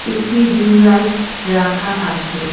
একটি ring light রাখা আছে।